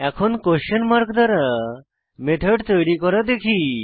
এখন question mark দ্বারা method তৈরী করা দেখি